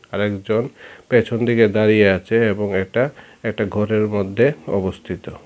আর একজন পেছন দিকে দাঁড়িয়ে আছে এবং এটা একটা ঘরের মধ্যে অবস্থিত।